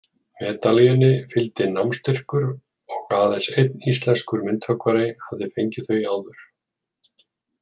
Medalíunni fylgdi námsstyrkur, og aðeins einn íslenskur myndhöggvari hafði fengið þau áður.